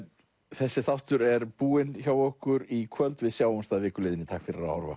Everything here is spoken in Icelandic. þessi þáttur er búinn hjá okkur í kvöld við sjáumst að viku liðinni takk fyrir að horfa